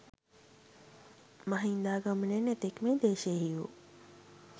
මහින්දාගමනයෙන් එතෙක් මේ දේශයෙහි වූ